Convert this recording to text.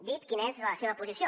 dit quina és la seva posició